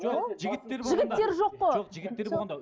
жоқ жігіттер жігіттер жоқ қой жоқ жігіттер болғанда